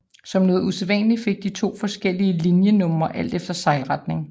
Som noget usædvanligt fik de to forskellige linjenumre alt efter sejlretningen